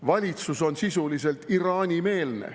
Valitsus on sisuliselt Iraani-meelne.